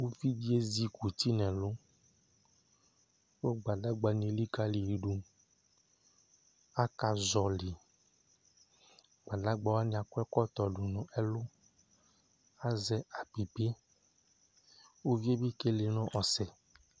uvi di ezi kuti n'ɛlu kò gbadagba ni elikali yi do aka zɔli yi gbadagba wani akɔ ɛkɔtɔ do no ɛlu azɛ apipi uvi yɛ bi kele no ɔsɛ